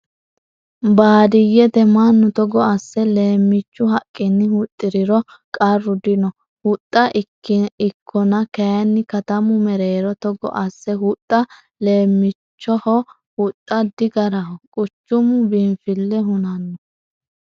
Baadiyyete mannu togo asse leemichu haqqini huxxiriro qarru dino huxxa ikkonna kayinni katamu mereero togo asse huxxa leemichuha huxxa digaraho quchumu biinfile hunano.